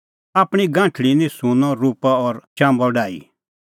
आपणीं गांठल़ी निं सुंन्नअ रुपअ और चाम्बअ डाही